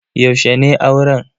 Yaushe ne auren?